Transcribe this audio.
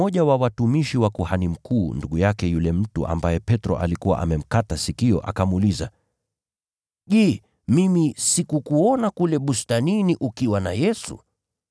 Mmoja wa watumishi wa kuhani mkuu, ndugu yake yule mtu ambaye Petro alikuwa amemkata sikio, akamuuliza, “Je, mimi sikukuona kule bustanini ukiwa na Yesu?”